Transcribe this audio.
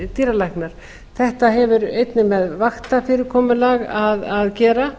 dýralæknar þetta hefur einnig með vaktafyrirkomulag að gera